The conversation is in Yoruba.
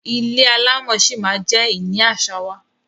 Ilé alámọ̀ ṣí ma jẹ ìní àṣà wa.